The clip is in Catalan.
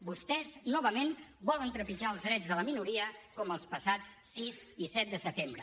vostès novament volen trepitjar els drets de la minoria com els passats sis i set de setembre